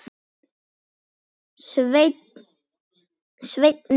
Svenni hlýðir.